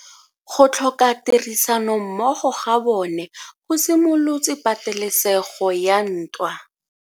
Go tlhoka tirsanommogo ga bone go simolotse patelesego ya ntwa.